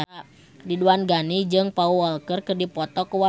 Ridwan Ghani jeung Paul Walker keur dipoto ku wartawan